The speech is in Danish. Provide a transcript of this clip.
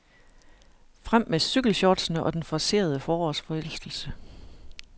Frem med cykelshortsene og den forcerede forårsforelskelse.